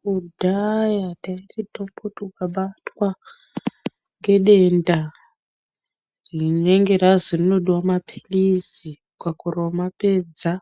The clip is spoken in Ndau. Kudhaya taiti tomboti ukabatwa ngedenda rinenge razwi rinodiwa maphirizi ukakorera kumapedza,